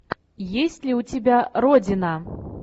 есть ли у тебя родина